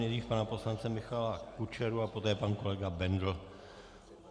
Nejdřív pana poslance Michala Kučeru a poté pan kolega Bendl.